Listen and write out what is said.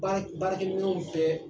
Baarakɛ baarakɛ minɛnw bɛɛ